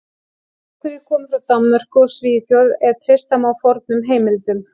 Einhverjir komu frá Danmörku og Svíþjóð ef treysta má fornum heimildum.